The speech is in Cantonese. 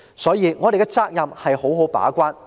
因此，我們的責任是要好好把關。